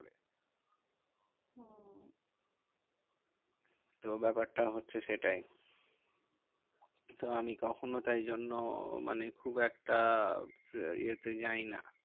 তো ব্যাপারটা হচ্ছে সেটাই। কিন্তু আমি কখনো তাই জন্য মানে খুব একটা এ তে যাই না।